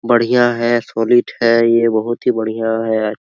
बढ़िया है सॉलिड है ये बहुत ही बढ़िया है ।